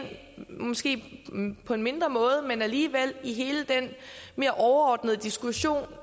måske på en mindre måde men alligevel i hele den mere overordnede diskussion